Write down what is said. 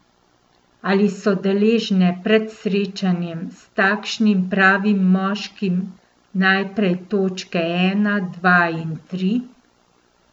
Ali so deležne pred srečanjem s takšnim pravim moškim najprej točke ena, dva in tri?